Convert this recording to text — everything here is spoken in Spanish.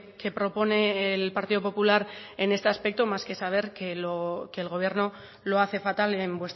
que propone el partido popular en este aspecto más que saber que el gobierno lo hace fatal en